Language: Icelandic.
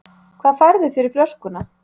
Hvað færðu fyrir flöskuna?